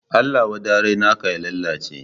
Allah wadarai naka ya lalace